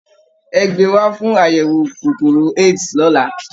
Ẹ gbé e wá fún àyẹ̀wò kòkòrò AIDS lọ́la!